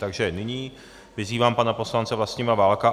Takže nyní vyzývám pana poslance Vlastimila Válka.